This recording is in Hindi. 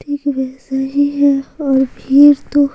ठिक वैसा ही है और फिर तो --